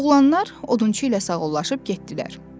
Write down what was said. Oğlanlar odunçu ilə sağollaşıb getdilər.